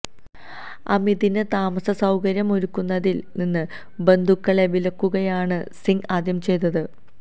അമിതിന് താമസ സൌകര്യം ഒരുക്കുന്നതില് നിന്ന് ബന്ധുക്കളെ വിലക്കുകയാണ് സിങ് ആദ്യം ചെയ്തത്